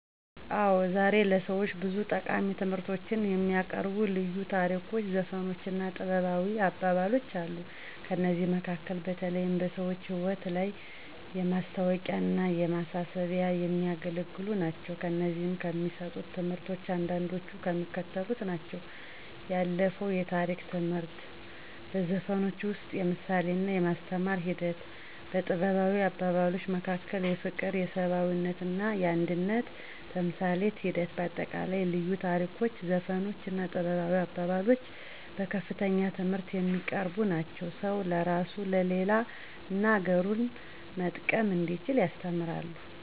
አዎ ዛሬ ለሰዎች ብዙ ጠቃሚ ትምህርቶችን የሚያቀርቡ ልዩ ታሪኮች ዘፈኖች እና ጥበባዊ አባባሎች አሉ። ከእነዚህም መካከል በተለይም በሰዎች ህይወት ላይ ለማስታዎቂያና ለማሳሰቢያ የሚያገለግሉ ናቸው። ከእነዚህም ከሚሰጡት ትምህርቶች አንዳንዶቹ የሚከተሉት ናቸው፦ 1. የአለፋው የታሪክ ትምህርት 2. በዘፈኖች ውስጥ የምሳሌና የማስተማር ሒደት 3. በጥበባዊ አባባሎች መካከል የፍቅር የሰብአዊነትና የአንድነት ተምሳሌት ሒደት በአጠቃላይ ልዩ ታሪኮች ዘፈኖች እና ጥበባዊ አባባሎች በከፍተኛ ትምህርት የሚያቀርቡ ናቸው። ሰውን ለራሱ ለሌላ እና አገሩን መጠቀም እንዲችል ያስተምራሉ።